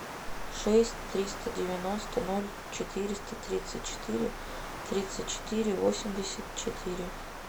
шесть триста девяносто ноль четыреста тридцать четыре тридцать четыре восемьдесят четыре